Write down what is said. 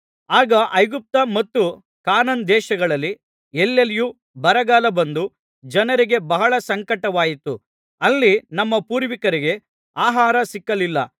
ಆಗ ಐಗುಪ್ತ ಮತ್ತು ಕಾನಾನ್ ದೇಶಗಳಲ್ಲಿ ಎಲ್ಲೆಲ್ಲಿಯೂ ಬರಗಾಲ ಬಂದು ಜನರಿಗೆ ಬಹಳ ಸಂಕಟವಾಯಿತು ಅಲ್ಲಿ ನಮ್ಮ ಪೂರ್ವಿಕರಿಗೆ ಆಹಾರ ಸಿಕ್ಕಲಿಲ್ಲ